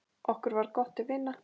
Okkur varð gott til vina.